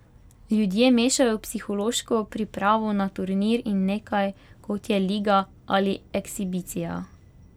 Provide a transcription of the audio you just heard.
Ljudje mešajo psihološko pripravo na turnir in nekaj, kot je liga ali ekshibicija.